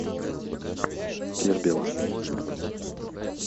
кербела